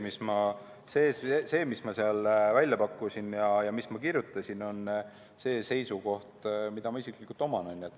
See, mis ma seal välja pakkusin ja mida ma kirjutasin, on see seisukoht, mida ma isiklikult oman.